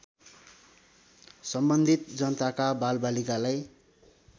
सम्बन्धित जनताका बालबालिकालाई